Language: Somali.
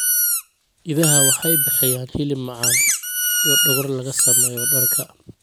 Idaha waxay bixiyaan hilib macaan iyo dhogor laga sameeyo dharka.